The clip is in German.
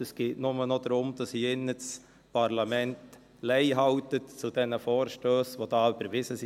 Es geht nur noch darum, dass das Parlament hier im Saal Lei hält zu den Vorstössen, die hier überwiesen wurden.